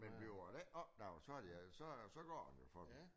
Men bliver det ikke opdaget så de øh så øh så går den jo for dem